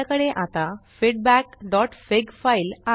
आपल्याकडे आता feedbackफिग फीडबॅकफिग फाइल आहे